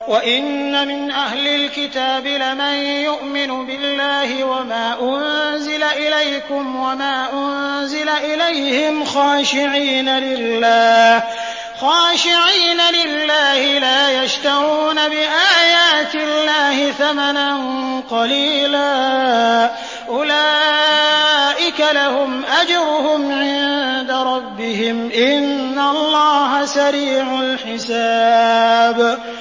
وَإِنَّ مِنْ أَهْلِ الْكِتَابِ لَمَن يُؤْمِنُ بِاللَّهِ وَمَا أُنزِلَ إِلَيْكُمْ وَمَا أُنزِلَ إِلَيْهِمْ خَاشِعِينَ لِلَّهِ لَا يَشْتَرُونَ بِآيَاتِ اللَّهِ ثَمَنًا قَلِيلًا ۗ أُولَٰئِكَ لَهُمْ أَجْرُهُمْ عِندَ رَبِّهِمْ ۗ إِنَّ اللَّهَ سَرِيعُ الْحِسَابِ